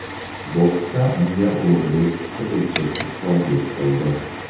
Boksda unga Ulug‘bek Qilichev ustozlik qildi.